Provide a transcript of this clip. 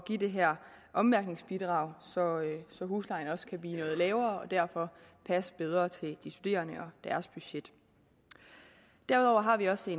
give det her ommærkningsbidrag så så huslejen kan blive noget lavere og derfor passe bedre til de studerende og deres budget derudover har vi også